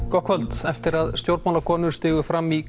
gott kvöld eftir að stjórnmálakonur stigu fram í